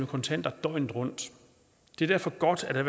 kontanter døgnet rundt det er derfor godt at